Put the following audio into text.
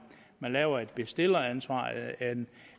man laver et bestilleransvar